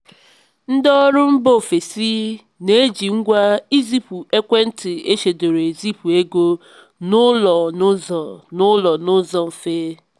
ndị ọrụ mba ofesi na-eji ngwa izipu ekwentị echedoro ezipụ ego n'ụlọ n'ụzọ n'ụlọ n'ụzọ mfe.